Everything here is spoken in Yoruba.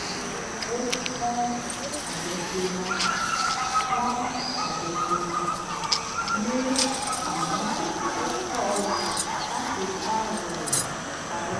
ó pọ́n àjọṣe wọn pọ́n àjọṣe wọn lé àmọ́ ó kọ̀ láti bá ọ̀rẹ́ rẹ̀ parọ́